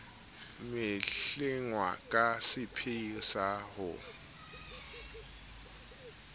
mehlengwa ka seipheo sa ho